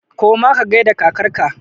Koma ka gaida kakar ka!